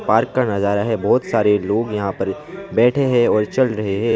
Park का नजारा है बहोत सारे लोग यहां पर बैठे हैं और चल रहे हैं।